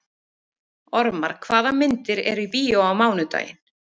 Ormar, hvaða myndir eru í bíó á mánudaginn?